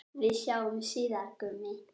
Við sjáumst síðar, Gummi.